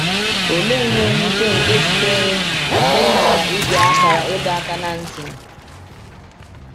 Olee ihe nwute nke sitere n’ịghara ige akara ịdọ aka ná ntị!